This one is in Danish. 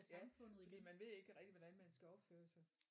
Ja fordi man ved ikke rigtig hvordan man skal opføre sig